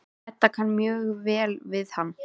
Edda kann mjög vel við hann.